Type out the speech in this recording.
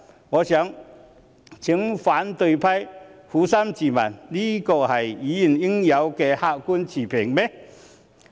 我想請反對派撫心自問，這是否議員應有的客觀持平？